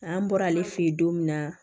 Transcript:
An bɔra ale fɛ yen don min na